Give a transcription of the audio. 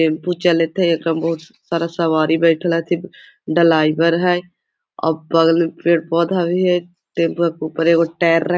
tempo चल थे एकरा में बहुत सारा सवारी बइठल हती डलाइवर है और बगल में पेड़-पौधा भी है टेम्पो के ऊपर एगो टायर --